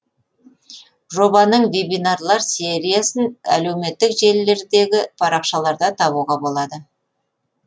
жобаның вебинарлар сериясын әлеуметтік желілердегі парақшаларда табуға болады